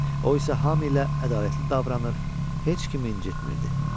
Oysa hamıya ədalətli davranır, heç kimi incitmirdi.